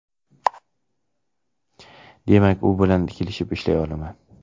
Demak, u bilan kelishib ishlay olaman.